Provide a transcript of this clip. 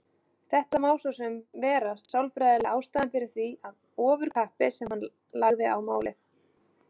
Þetta má svo sem vera sálfræðilega ástæðan fyrir því ofurkappi sem hann lagði á málið.